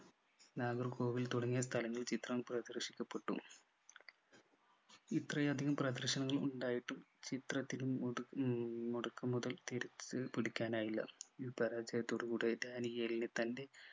നാഗർകോവിൽ തുടങ്ങിയ സ്ഥലങ്ങളിൽ ചിത്രം പ്രദർശിക്കപ്പെട്ടു ഇത്രയധികം പ്രദർശനങ്ങൾ ഉണ്ടായിട്ടും ചിത്രത്തിൽ മുട ഹും മുടക്കു മുതൽ തിരിച്ചു പിടിക്കാനായില്ല പരാജയത്തോടു കൂടെ ഡാനിയേലിനു തൻ്റെ